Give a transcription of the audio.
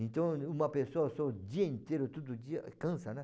Então, uma pessoa só o dia inteiro, todo dia, cansa, né?